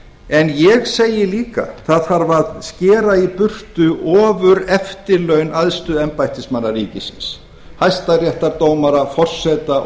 en ég segi líka það þarf að skera í burtu ofureftirlaun æðstu embættismanna ríkisins hæstaréttardómara forseta